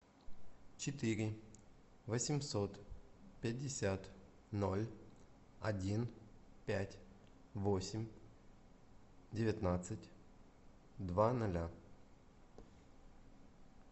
четыре восемьсот пятьдесят ноль один пять восемь девятнадцать два ноля